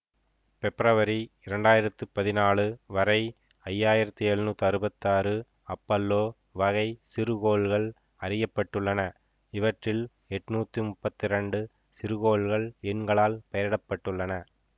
பெப்ரவரி இரண்டு ஆயிரத்தி பதினாலு வரை ஐயாயிரத்தி எழுநூற்றி அறுபத்தி ஆறு அப்பல்லோவகை சிறுகோள்கள் அறிய பட்டுள்ளன இவற்றில் எட்நூத்தி முப்பத்தி இரண்டு சிறுகோள்கள் எண்களால் பெயரிடப்பட்டுள்ளன